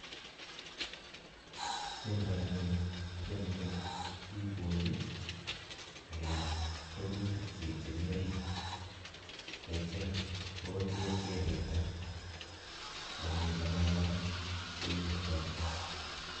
Kiomdoo Ono nii? kiome kouni kisuse ak kibony ak keam rurutikchik chemi oriit. yeityo mogotyeet kewirta, ako ngomomi logoek kora kewirtoo